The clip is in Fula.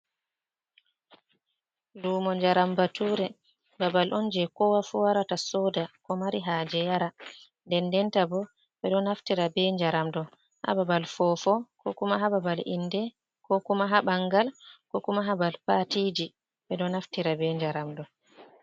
Lumo njnaram ɓature babal on je ko wafu warata soda ko mari ha je yara ɗenɗen ta bo ɓe ɗo naftira be njaram ɗo ha babal fofo ko kuma ha babal inɗe ko kuma ha ɓangal ko kuma babal patiji ɓe ɗo naftira be njaram ɗo.